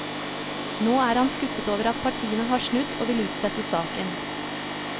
Nå er han skuffet over at partiene har snudd og vil utsette saken.